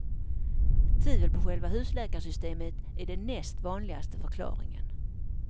Tvivel på själva husläkarsystemet är den näst vanligaste förklaringen.